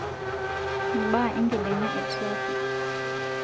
mbaa e nkidingaa e trafik